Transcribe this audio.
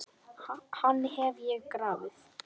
Hann hef ég grafið.